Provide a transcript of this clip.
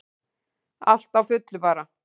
Allt á fullu bara.